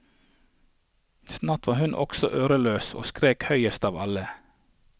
Snart var hun også øreløs og skrek høyest av alle.